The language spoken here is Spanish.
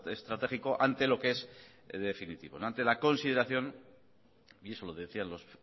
estratégico ante lo que es el definitivo ante la consideración y eso lo decían los